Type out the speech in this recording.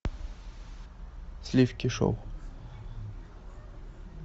сливки шоу